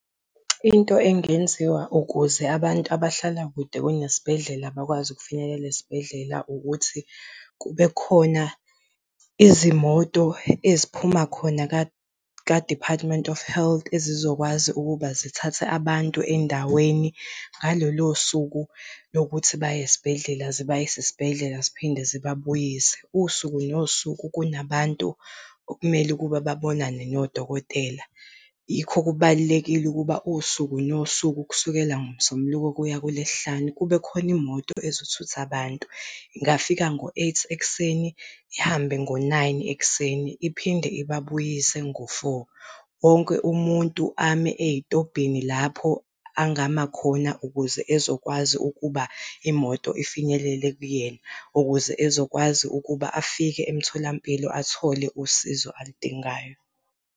Into engenziwa ukuze abantu abahlala kude kunesibhedlela bakwazi ukufinyelela esibhedlela ukuthi, kube khona izimoto eziphuma khona ka-Department of Health ezizokwazi ukuba zithathe abantu endaweni ngalolo suku lokuthi baye esibhedlela zibayise esibhedlela ziphinde zibabuyise. Usuku nosuku kuna bantu okumele ukuba babonane nodokotela. Yikho kubalulekile ukuba usuku nosuku kusukela ngoMsombuluko kuya kuLwesihlanu kube khona imoto ezothutha abantu. Ingafika ngo-eight ekuseni, ihambe ngo-nine ekuseni iphinde ibabuyise ngo-four. Wonke umuntu ame ey'tobhini lapho angama khona ukuze ezokwazi ukuba imoto ifinyelele kuyena, ukuze ezokwazi ukuba afike emtholampilo athole usizo aludingayo.